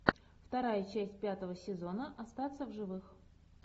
вторая часть пятого сезона остаться в живых